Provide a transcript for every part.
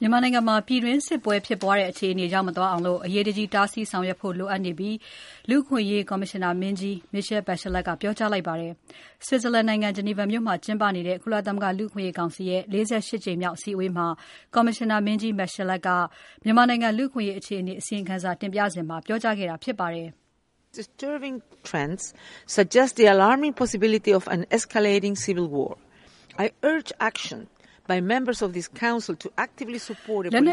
မြန်မာနိုင်ငံမှာ ပြည်တွင်းစစ်ဖြစ်တဲ့ အခြေအနေမရောက်အောင် အရေးတကြီး တားဆီးဆောင်ရွက်ဖို့ လိုအပ်နေပြီလို့ လူ့အခွင့်အရေးဆိုင်ရာ ကော်မရှင်နာမင်းကြီး Michelle Bachelet ကပြောကြားလိုက်ပါတယ်။ Switzerland နိုင်ငံ Geneva မြို့မှာ ကျင်းပနေတဲ့ ကုလသမဂ္ဂလူ့အခွင့်အရေးကောင်စီရဲ့ ၄၈ ကြိမ်မြောက်အစည်းအဝေးမှာ ကော်မရှင်နာမင်းကြီး Bachelet က မြန်မာနိုင်ငံ လူ့အခွင့်အရေး အခြေအနေ အစီရင်ခံစာတင်ပြစဉ်မှာ ပြောကြားခဲ့တာဖြစ်ပါတယ်။ "လက်န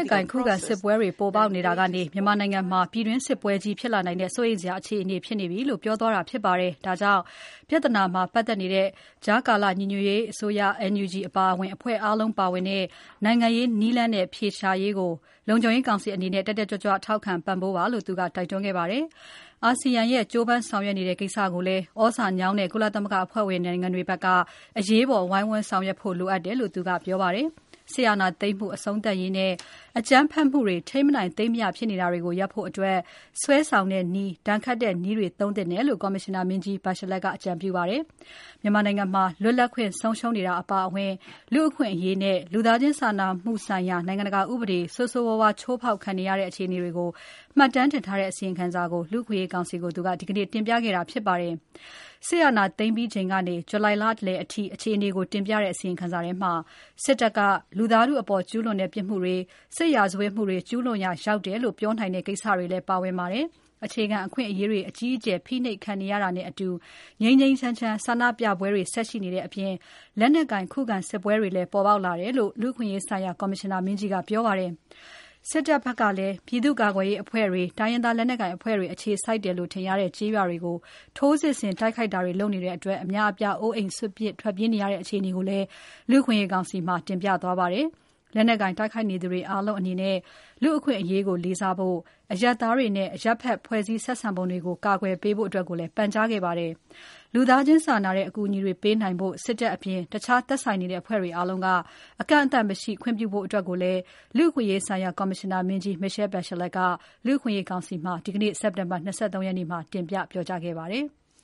က်ကိုင် ခုခံစစ်ပွဲတွေ ပေါ်ပေါက်နေတာကနေ မြန်မာနိုင်ငံမှာ ပြည်တွင်းစစ်ပွဲကြီးဖြစ်လာနိုင်တဲ့ စိုးရိမ်စရာဖြစ်နေပြီ" လို့ိ ပြောသွားတာဖြစ်ပါတယ်။ ဒါကြောင့် ကြားကာလ အမျိုးသားညီညွတ်ရေးအစိုးရ NUG အပါအဝင် ပြဿနာမှာ ပတ်သက်နေတဲ့ အဖွဲ့အားလုံးပါဝင်တဲ့ နိုင်ငံရေးနည်းလမ်းနဲ့ အဖြေရှာရေးကို လုံခြုံရေးကောင်စီအနေနဲ့ တက်တက်ကြွကြွ ထောက်ခံပံ့ပိုးပါလို့ သူက တိုက်တွန်းခဲ့ပါတယ်။ အာဆီယံက ကြိုးပမ်းဆောင်ရွက်နေတဲ့ကိစ္စကိုလည်း သြဇာညောင်းတဲ့ ကုလသမဂ္ဂအဖွဲ့ဝင်နိုင်ငံတွေက အရေးပေါ် ဝိုင်းဝန်းဆောင်ရွက်ဖို့လိုအပ်တယ်လို့ သူကပြောပါတယ်။ စစ်အာဏာသိမ်းမှု အဆုံးသတ်ရေးနဲ့ အကြမ်းဖက်မှုတွေ ထိမ်းမနိုင် သိမ်းမရဖြစ်နေတာကို ရပ်နိုင်ဖို့အတွက် စွဲဆောင်တဲ့နည်း၊ ဒဏ်ခတ်တဲ့နည်းတွေသုံးသင့်တယ်လို့ ကော်မရှင်နာမင်းကြီး Bachelet က အကြံပြုခဲ့ပါတယ်။ မြန်မာနိုင်ငံ လွတ်လပ်ခွင့်ဆုံးရှုံးနေတာအပါအဝင် လူ့အခွင့်အရေးနဲ့ လူသားချင်းစာနာမှုဆိုင်ရာ နိုင်ငံတကာ ဥပဒေ ဆိုးဆိုးဝါးဝါး ချိုးဖောက်ခံနေရတဲ့ အခြေအနေတွေကို မှတ်တမ်းတင်ထားတဲ့ အစီရင်ခံစာကို လူ့အခွင့်အရေးကောင်စီကို သူက ဒီနေ့တင်ပြခဲ့တာဖြစ်ပါတယ်။ စစ်အာဏာသိမ်းပြီးချိန်ကနေ ဇူလိုင်လလယ်အထိ အခြေအနေကိုတင်ပြတဲ့ အစီရင်ခံစာထဲမှာ စစ်တပ်က လူသားထုအပေါ် ကျူးလွန်တဲ့ပြစ်မှုတွေ၊ စစ်ရာဇဝတ်မှုတွေ ကျူးလွန်ရာရောက်တယ်လို့ ပြောနိုင်တဲ့ကိစ္စတွေလည်း ပါဝင်ပါတယ်။ အခြေခံအခွင့်အရေးတွေ အကြီးအကျယ် ဖိနှိပ်ခံနေရတာနဲ့အတူ ငြိမ်းငြိမ်းချမ်းချမ်း ဆန္ဒပြပွဲတွေ ဆက်ရှိနေတဲ့အပြင် လက်နက်ကိုင် ခုခံစစ်ပွဲတွေလည်း ပေါ်ပေါက်လာတယ်လို့ လူ့အခွင့်အရေးဆိုင်ရာ ကော်မရှင်နာမင်းကြီးက ပြောပါတယ်။ စစ်တပ်ဘက်ကလည်း ပြည်သူ့ကာကွယ်ရေးအဖွဲ့တွေ၊ တိုင်းရင်းသားလက်နက်ကိုင်အဖွဲ့တွေ အခြေစိုက်တယ်လို့ထင်ရတဲ့ ကျေးရွာတွေကို ထိုးစစ်ဆင်တိုက်ခိုက်တာတွေ လုပ်နေတဲ့အတွက် အများအပြား အိုးအိမ်စွန့်ပစ် ထွက်ပြေးနေရတဲ့ အခြေအနေကိုလည်း လူ့အခွင့်အရေးကောင်စီမှာ တင်ပြသွားပါတယ်။ လက်နက်ကိုင် တိုက်ခိုက်နေကြသူတွေအားလုံးအနေနဲ့ လူ့အခွင့်အရေးကို လေးစားဖို့နဲ့၊ စစ်ရေးပစ်မှတ်မဟုတ်တဲ့ အရပ်ဖက်နဲ့ဆိုင်တာတွေကို ကာကွယ်ပေးဖို့လည်း ပန်ကြားခဲ့ပါတယ်။ လူသားချင်းစာနာတဲ့ အကူအညီတွေပေးနိုင်ဖို့ စစ်တပ်အပြင် တခြားသက်ဆိုင်နေတဲ့ အဖွဲ့တွေအားလုံးက အကန့်အသတ်မရှိ ခွင့်ပြုဖို့အတွက်ကိုလည်း လူ့အခွင့်အရေးဆိုင်ရာ ကော်မရှင်နာမင်းကြီး Michelle Bachelet က လူ့အခွင့်အရေးကောင်စီမှာ ဒီနေ့ စက်တင်ဘာ ၂၃ ရက်မှာ တင်ပြပြောကြားခဲ့ပါတယ်။